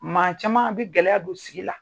Maa caman bɛ gɛlɛya don sigi la.